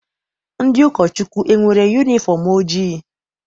Ndị ụkọchukwu enwere yunifọm ojii?